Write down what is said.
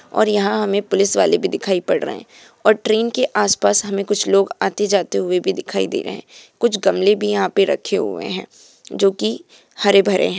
और यहाँ हमे पुलिस वाले भी दिखाई पर रहे है और ट्रेन के आस-पास हमे कुछ लोग आते-जाते हुए भी दिखाई दे रहे है कुछ गमले भी यहाँ पे रखे हुए है जो की हरे-भरे है।